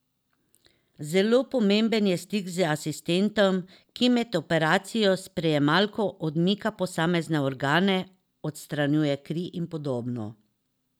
Zelo pomemben je stik z asistentom, ki med operacijo s prijemalko odmika posamezne organe, odstranjuje kri in podobno.